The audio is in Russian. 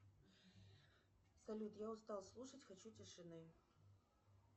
салют я устал слушать хочу тишины